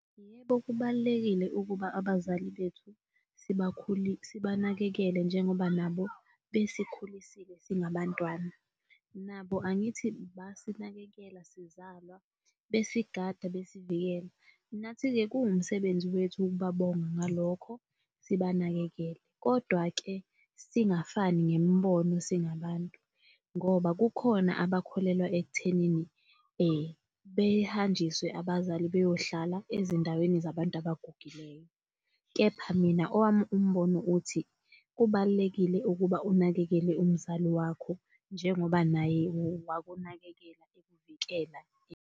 Yebo, kubalulekile ukuba abazali bethu sibanakekele njengoba nabo besikhulisile singabantwana. Nabo angithi basinakekela sizalwa besigada besivikela, nathi-ke kuwumsebenzi wethu ukubabonga ngalokho sibanakekele. Kodwa-ke singafani ngemibono singabantu, ngoba kukhona abakholelwa ekuthenini behanjiswe abazali beyohlala ezindaweni zabantu abagugileyo. Kepha mina owami umbono uthi, kubalulekile ukuba unakekele umzali wakho njengoba naye wakunakekela ekuvikela.